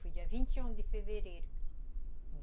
Foi dia vinte e um de fevereiro.